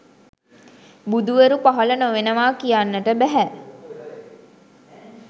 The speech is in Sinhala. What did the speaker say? බුදුවරු පහළ නොවෙනවා කියන්නට බැහැ.